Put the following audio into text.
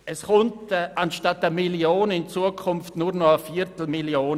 Es erhält in Zukunft statt einer Million nur eine Viertelmillion.